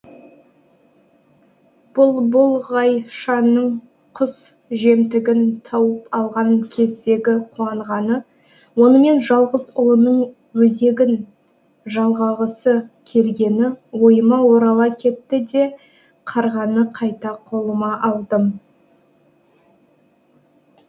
бұлбұлғайшаның құс жемтігін тауып алған кездегі қуанғаны онымен жалғыз ұлының өзегін жалғағысы келгені ойыма орала кетті де қарғаны қайта қолыма алдым